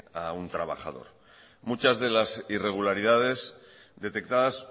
a un trabajador muchas de las irregularidades detectadas